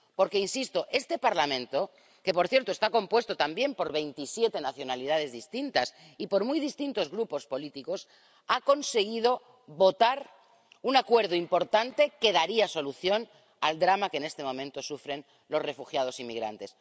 Porque, insisto, este Parlamento, que, por cierto, está compuesto también por veintisiete nacionalidades distintas y por muy distintos grupos políticos, ha conseguido votar un acuerdo importante que daría solución al drama que en este momento sufren los refugiados y migrantes.